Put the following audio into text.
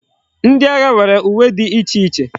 Ndi agha nwere uwe di iche iche